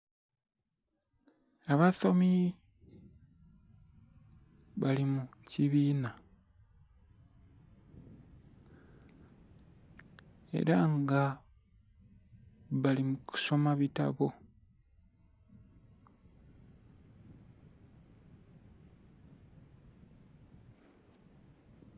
Abasomi bali mukibinha era nga bali mukusoma bitabo